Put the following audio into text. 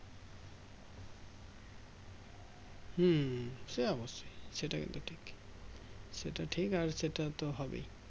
হুম সে অবশ্যই সেটা কিন্তু ঠিক সেটা ঠিক আর সেটাতো হবেই